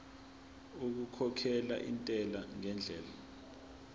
okukhokhela intela ngendlela